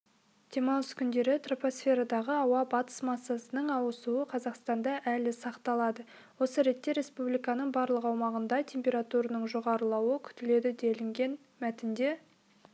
демалыс күндері тропосферадағы ауа батыс массасының ауысуы қазақстанда әлі сақталады осы ретте республиканың барлық аумағында температураның жоғарылауы күтіледі делінген мәтінде